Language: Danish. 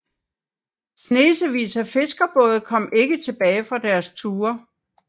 Snesevis af fiskerbåde kom ikke tilbage fra deres ture